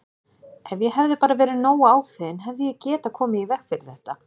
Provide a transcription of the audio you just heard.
Ef ég hefði bara verið nógu ákveðinn hefði ég getað komið í veg fyrir þetta!